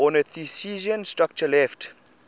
ornithischian structure left